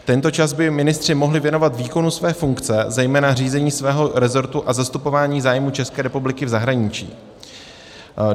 Tento čas by ministři mohli věnovat výkonu své funkce, zejména řízení svého resortu a zastupování zájmů České republiky v zahraničí.